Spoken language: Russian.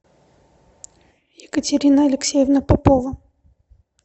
екатерина алексеевна попова